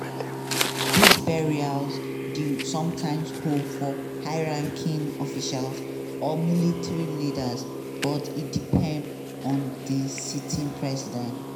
dis burials dey sometimes hold for high ranking officials or military leaders but e depend on di sitting president.